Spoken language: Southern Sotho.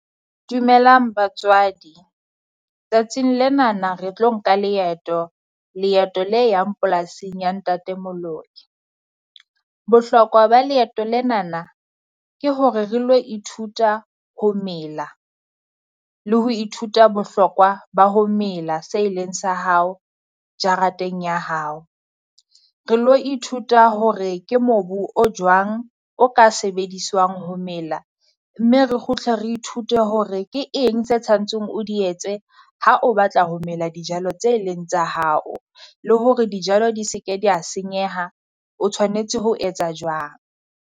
Dumelang batswadi, tsatsing lenana re tlo nka leeto. Leeto le yang polasing ya Ntate Moloi. Bohlokwa ba leeto lenana ke hore re lo ithuta ho mela, le ho ithuta bohlokwa ba ho mela se e leng sa hao jarateng ya hao. Re lo ithuta hore ke mobu o jwang o ka sebediswang ho mela, mme re kgutle re ithute hore ke eng tse tshwantseng o di etse ha o batla ho mela dijalo tse leng tsa hao. Le hore dijalo di se ke dia senyeha o tshwanetse ho etsa jwang.